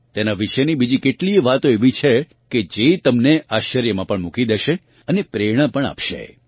તેના વિશેની બીજી કેટલીય વાતો એવી છે કે જે તમને આશ્ચર્યમાં પણ મૂકી દેશે અને પ્રેરણા પણ આપશે